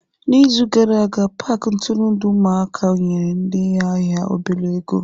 N'izu gara aga, paaki nturundu ụmụaka nyere ndị ahịa obele ego.